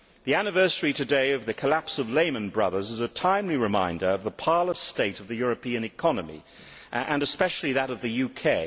The anniversary today of the collapse of Lehman Brothers is a timely reminder of the parlous state of the European economy and especially that of the UK.